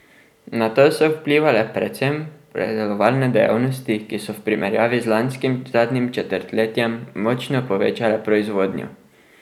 Na to so vplivale predvsem predelovalne dejavnosti, ki so v primerjavi z lanskim zadnjim četrtletjem močno povečale proizvodnjo.